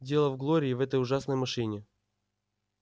дело в глории и в этой ужасной машине